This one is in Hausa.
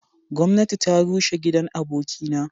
Gomnati ta rushe gidan aboki na.